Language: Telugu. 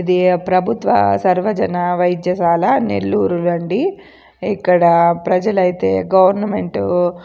ఇదీ ప్రభుత్వ సర్వజన వైద్యశాల నెల్లూరు రండి. ఇక్కడ ప్రజలైతే గవర్నమెంట్ --